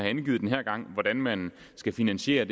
den her gang hvordan man skal finansiere